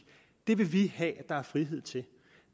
vil vi have at der er frihed til